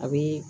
A bi